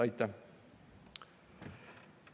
Aitäh!